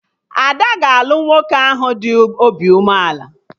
Ada ga-alụ nwoke ahụ dị obi umeala